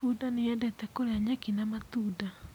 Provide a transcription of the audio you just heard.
Bunda nĩ yendete kũrĩa nyeki na matunda.